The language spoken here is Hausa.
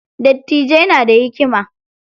Dattijai na da hikima.